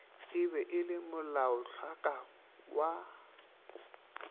e be le molaotlhakwa wa